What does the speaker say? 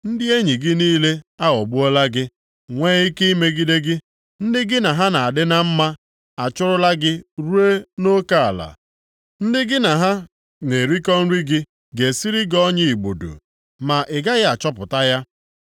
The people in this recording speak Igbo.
Ndị enyi gị niile aghọgbuola gị, nwee ike imegide gị, ndị gị na ha na-adị na mma achụrụla gị ruo nʼoke ala; ndị gị na ha na-erikọ nri gị ga-esiri gị ọnya igbudu, ma ị gaghị achọpụta ya.